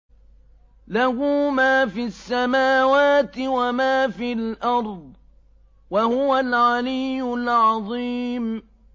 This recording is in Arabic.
لَهُ مَا فِي السَّمَاوَاتِ وَمَا فِي الْأَرْضِ ۖ وَهُوَ الْعَلِيُّ الْعَظِيمُ